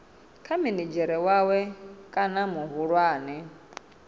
kha minidzhere wawe kana muhulwane